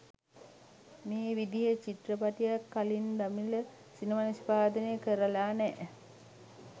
මේ විදිහෙ චිත්‍රපටියක් කලින් දමිල සිනමාවේ නිෂ්පාදනය කරලා නෑ.